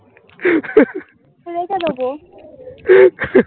. এইটা দেবো